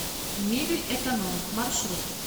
мебельэконом маршрут